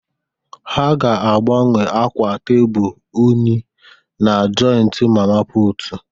Ha ga-agbanwe akwa tebụl unyi na joịtị mama putụ̀.